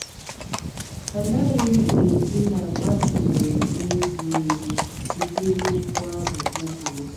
Anaghịm ekwu na Martin mèrè ihe ziri ezi site ná okwu ahụ o kwuru